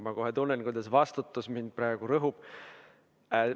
Ma kohe tunnen, kuidas vastutus mind praegu rõhub.